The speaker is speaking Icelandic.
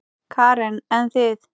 Karen: En þið?